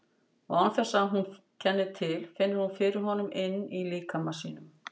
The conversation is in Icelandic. Og án þess að hún kenni til finnur hún fyrir honum inní líkama sínum.